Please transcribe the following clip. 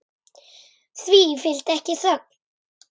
Því fylgdi ekki þögn.